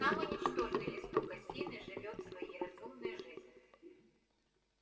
самый ничтожный листок осины живёт своей разумной жизнью